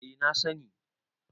eh na sani